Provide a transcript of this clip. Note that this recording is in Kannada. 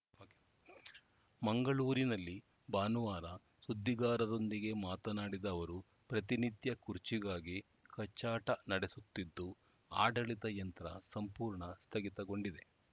ಮಂಗಳೂರಿನಲ್ಲಿ ಭಾನುವಾರ ಸುದ್ದಿಗಾರರೊಂದಿಗೆ ಮಾತನಾಡಿದ ಅವರು ಪ್ರತಿನಿತ್ಯ ಕುರ್ಚಿಗಾಗಿ ಕಚ್ಚಾಟ ನಡೆಸುತ್ತಿದ್ದು ಆಡಳಿತ ಯಂತ್ರ ಸಂಪೂರ್ಣ ಸ್ಥಗಿತಗೊಂಡಿದೆ